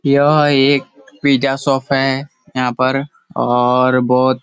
यह एक pizza shop हैं और यहाँ पर और बहोत --